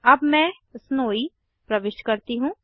अब मैं स्नोवी प्रविष्ट करती हूँ